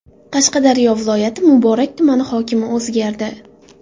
Qashqadaryo viloyati Muborak tumani hokimi o‘zgardi.